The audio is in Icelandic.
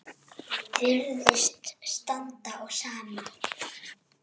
Virðist standa á sama.